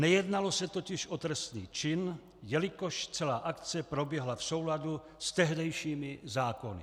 Nejednalo se totiž o trestný čin, jelikož celá akce proběhla v souladu s tehdejšími zákony.